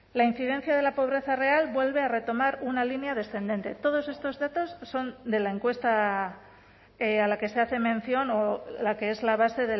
la incidencia de la pobreza real vuelve a retomar una línea descendente todos estos datos son de la encuesta a la que se hace mención o la que es la base